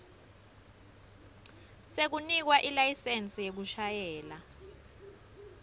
sekunikwa ilayisensi yekushayela